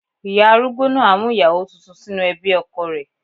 Ìyá arúgbó náà á mú ìyàwó tuntun sínú ẹbí ọkọ rẹ̀.